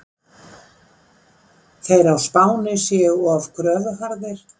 Þeir á Spáni séu of kröfuharðir.